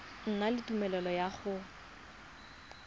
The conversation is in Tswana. na le tumelelo ya go